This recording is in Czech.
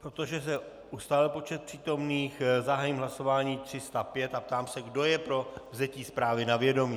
Protože se ustálil počet přítomných, zahájím hlasování 305 a ptám se, kdo je pro vzetí zprávy na vědomí.